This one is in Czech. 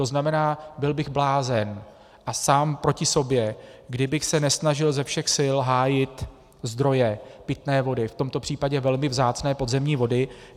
To znamená, byl bych blázen a sám proti sobě, kdybych se nesnažil ze všech sil hájit zdroje pitné vody, v tomto případě velmi vzácné podzemní vody.